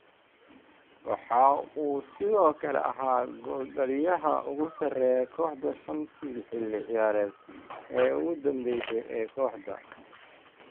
Waxa uu sidoo kale ahaa gooldhaliyaha ugu sareeya kooxda shantii xilli ciyaareed ee ugu danbeysay ee kooxda.